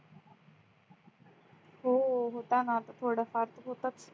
हो होता न थोड फार तर होतंच